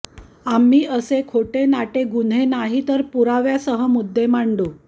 आम्ही असे खोटेनाटे गुन्हे नाही तर पुराव्यासह मुद्दे मांडू